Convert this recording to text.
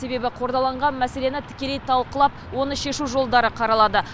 себебі қордаланған мәселені тікелей талқылап оны шешу жолдары қаралады